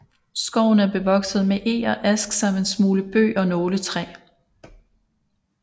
Skoven er bevokset med eg og ask samt en smule bøg og nåletræ